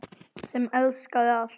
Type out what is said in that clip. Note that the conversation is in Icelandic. Sem elskaði allt.